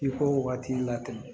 I k'o waati latɛmɛ